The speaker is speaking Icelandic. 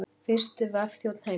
Fyrsti vefþjónn heims.